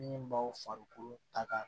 Min b'aw farikolo taga